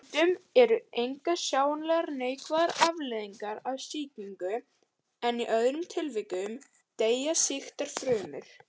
Stundum eru engar sjáanlegar neikvæðar afleiðingar af sýkingu en í öðrum tilvikum deyja sýktar frumur.